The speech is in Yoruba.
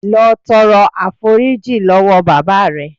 Lọ tọrọ àforíjì lọ́wọ́ bàbá rè.